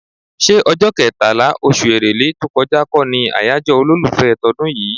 ṣé ọjọ́ kẹtàlá, oṣù Èrèlé tó kọjá lọ kọ́ ni àyájọ́ olólùfẹ́ tọdún yìí?